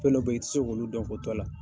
Fɛn dɔ be yen i ti se k'olu dɔn k'i to a la.